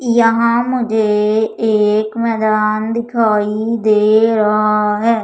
यहां मुझे एक मैदान दिखाई दे रहा है।